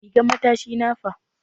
Rigan matashi na fa?